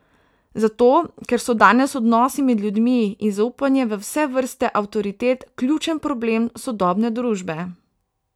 Zato, ker so danes odnosi med ljudmi in zaupanje v vse vrste avtoritet ključen problem sodobne družbe.